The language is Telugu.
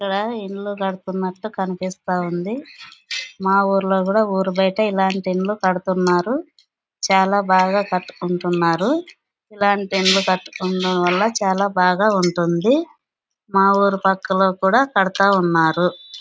ఇక్కడ ఇల్లు కడుతునాతు కనిపిస్తుంది. మా ఊరులో కూడా ఊరు బైట ఇల్లాంటి ఇల్లు కడుతూ ఉన్నారు. చాల బాగా కటుకుంటున్నారు. ఇలాంటి ఇల్లు కట్టుకోవడం వాళ్ళ చాల బాగా ఉంటుంది. మా ఊరు పాకలో కూడా కడతా ఉన్నారు.